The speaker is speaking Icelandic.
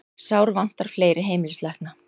Sárvantar fleiri heimilislækna